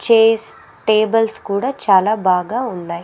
Chairs tables కూడా చాలా బాగా ఉన్నాయ్.